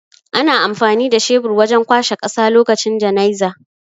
Ana amfani da shebur wajan kwashe ƙasa lokacin janaizay